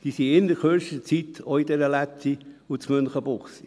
Diese sind innert kürzester Zeit auch in der Lätti und in Münchenbuchsee.